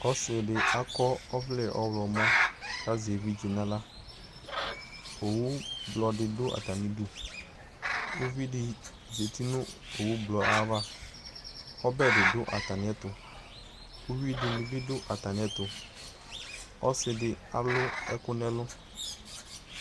Ɔsɩ dɩ akɔ ɔvlɛ ɔɣlɔmɔ kʋ azɛ evidze nʋ aɣla Owublɔ dɩ dʋ atamɩdu Uvi dɩ zati nʋ owublɔ yɛ ayava kʋ ɔbɛ dɩ dʋ atamɩɛtʋ Uyui dɩnɩ bɩ dʋ atamɩɛtʋ Ɔsɩ dɩ alʋ ɛkʋ nʋ ɛlʋ